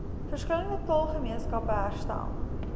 verskillende taalgemeenskappe herstel